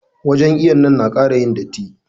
Wajen iwon nan na kara yin datti.